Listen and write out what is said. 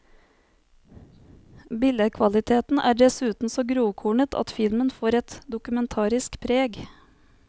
Billed kvaliteten er dessuten så grovkornet at filmen får et dokumentarisk preg.